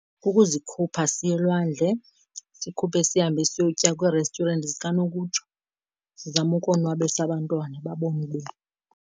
Ukuzikhupha siye elwandle. Sikhuphe sihambe siyokutya kwii-restaurant zikanokutsho, sizame ukonwabisa abantwana babone .